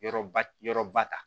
Yɔrɔba yɔrɔ ba ta